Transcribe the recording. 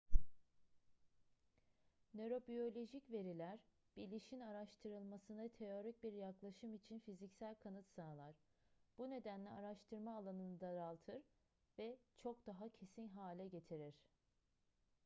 nörobiyolojik veriler bilişin araştırılmasına teorik bir yaklaşım için fiziksel kanıt sağlar bu nedenle araştırma alanını daraltır ve çok daha kesin hale getirir